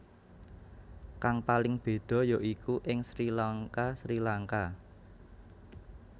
Kang paling béda yaiku ing Sri LankaSri Lanka